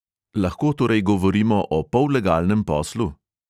Lahko torej govorimo o pollegalnem poslu?